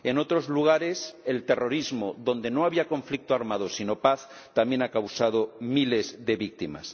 En otros lugares, el terrorismo, donde no había conflicto armado sino paz, también ha causado miles de víctimas.